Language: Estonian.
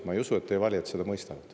Ma ei usu, et teie valijad seda mõistavad.